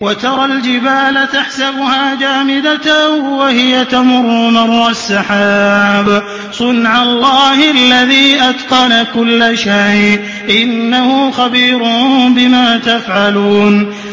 وَتَرَى الْجِبَالَ تَحْسَبُهَا جَامِدَةً وَهِيَ تَمُرُّ مَرَّ السَّحَابِ ۚ صُنْعَ اللَّهِ الَّذِي أَتْقَنَ كُلَّ شَيْءٍ ۚ إِنَّهُ خَبِيرٌ بِمَا تَفْعَلُونَ